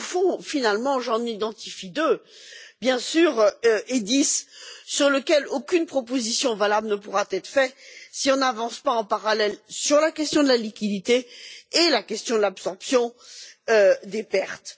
Au fond, j'en identifie deux, bien sûr, et dix sur lesquels aucune proposition valable ne pourra être faite si on n'avance pas en parallèle sur la question de la liquidité et sur la question de l'absorption des pertes.